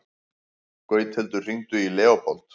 Gauthildur, hringdu í Leópold.